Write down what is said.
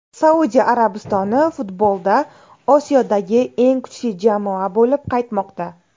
Saudiya Arabistoni futbolda Osiyodagi eng kuchli jamoa bo‘lib qaytmoqda”.